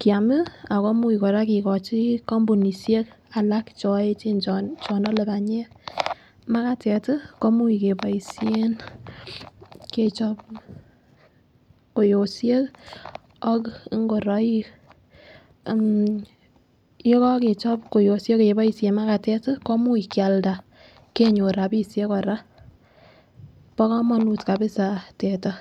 kiam ako imuch koraa kikochi kompunishek alak cho echen chonole panyek. Makatet tii ko imuch keboishen kechop kwoyoshek ak ikoroik ammh yekokechop kwoyoshek keboishen makatet tii ko imuch Kialda kenyor rabishek Koraa. Bo komonut kabisa teta.